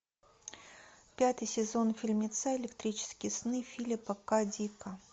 пятый сезон фильмеца электрические сны филипа ка дика